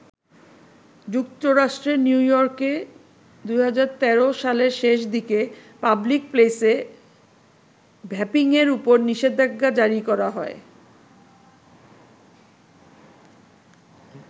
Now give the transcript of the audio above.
যুক্তরাষ্ট্রের নিউ-ইয়র্কে ২০১৩ সালের শেষ দিকে পাবলিক প্লেসে ভ্যাপিংয়ের উপর নিষেধাজ্ঞা জারি করা হয়।